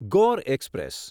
Gor express